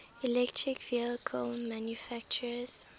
electric vehicle manufacturers